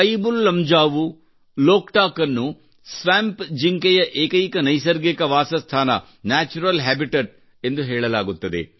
ಕಯಿಬುಲ್ ಲಮ್ಜಾವು ಲೋಕಟಾಕ್ ಅನ್ನು ಸ್ವ್ಯಾಂಪ್ ಜಿಂಕೆಯ ಏಕೈಕ ನೈಸರ್ಗಿಕ ವಾಸಸ್ಥಾನ ನ್ಯಾಚುರಲ್ ಹಬಿತಾತ್ ಹೆಬಿಟೇಟ್ ಎಂದು ಹೇಳಲಾಗುತ್ತದೆ